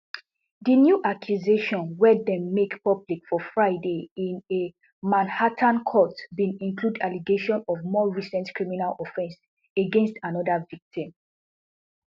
di new accusations wey dem make public for friday in a manhattan court bin include allegations of more recent criminal offences against anoda victim